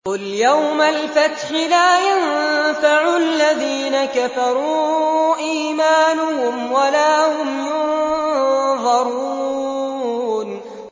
قُلْ يَوْمَ الْفَتْحِ لَا يَنفَعُ الَّذِينَ كَفَرُوا إِيمَانُهُمْ وَلَا هُمْ يُنظَرُونَ